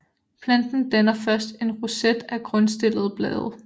Planten danner først en roset af grundstillede blade